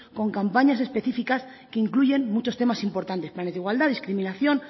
con campañas específicas que incluyen muchos temas importantes planes de igualdad discriminación